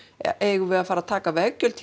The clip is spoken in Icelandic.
erum við að fara að taka veggjöld